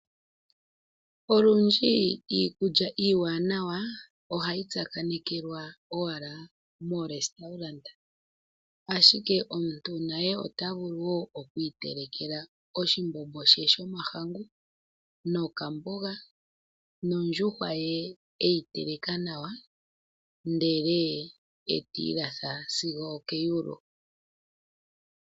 Olundji iikulya iiwanawa ohayi tsakanekwa owala mooresitorante. Ashike omuntu naye ota vulu wo oku itelekela oshimbombo shomahangu nokamboga nondjuhwa ye e yi teleka nawa, ndele e ta ilatha sigo okeyulu.